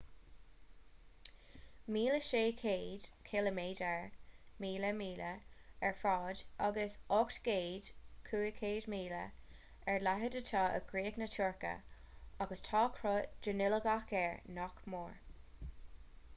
1,600 ciliméadar 1,000 míle ar fhad agus 800 km 500 míle ar leithead atá i gcríoch na tuirce agus tá cruth dronuilleogach air nach mór